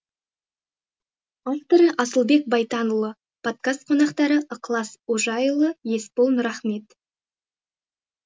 авторы асылбек байтанұлы подкаст қонақтары ықылас ожайұлы есбол нұрахмет